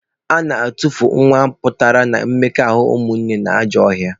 A na-etufu nwa pụtara na mmekọahụ ụmụnne na ajọ ọhịa